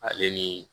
Ale ni